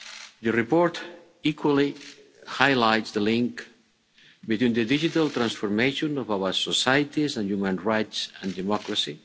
The report equally highlights the link between the digital transformation of our societies and human rights and democracy.